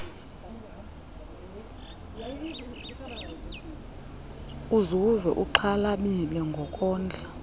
uzuve uxhalabile ngokondla